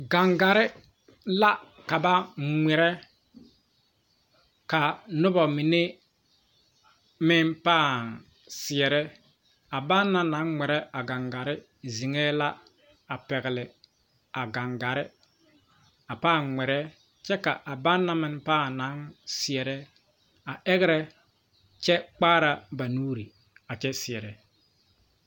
Gaŋgarre la ka ba ngmirɛ kaa nobɔ mine meŋ pãã seɛrɛ a banna naŋ ngmirɛ a gaŋgaare zeŋɛɛ la a pɛgle a gaŋgarre a pãã ngmirɛ kyɛ ka a banna meŋ pãã naŋ seɛrɛ a ɛgrɛ kyɛ kpaara ba nuure a kyɛ seɛrɛ.